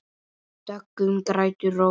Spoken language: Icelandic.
Döggum grætur rós.